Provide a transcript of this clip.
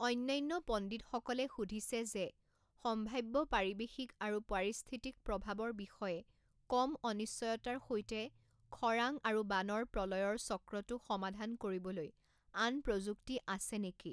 অন্যান্য পণ্ডিতসকলে সুধিছে যে সম্ভাব্য পাৰিৱেশিক আৰু পাৰিস্থিতিক প্ৰভাৱৰ বিষয়ে কম অনিশ্চয়তাৰ সৈতে খৰাং আৰু বানৰ প্ৰলয়ৰ চক্ৰটো সমাধান কৰিবলৈ আন প্ৰযুক্তি আছে নেকি।